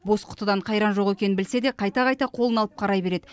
бос құтыдан қайран жоқ екенін білсе де қайта қайта қолына алып қарай береді